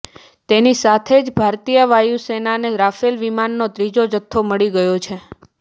તેની સાથે જ ભારતીય વાયુસેનાને રાફેલ વિમાનનો ત્રીજો જથ્થો મળી ગયો છે